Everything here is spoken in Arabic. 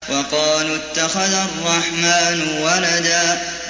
وَقَالُوا اتَّخَذَ الرَّحْمَٰنُ وَلَدًا